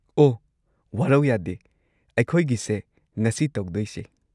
ꯑꯣꯍ, ꯋꯥꯔꯧ ꯌꯥꯗꯦ ꯑꯩꯈꯣꯏꯒꯤꯁꯦ ꯉꯁꯤ ꯇꯧꯗꯣꯏꯁꯦ꯫